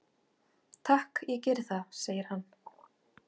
"""Takk, ég geri það, segir hann."""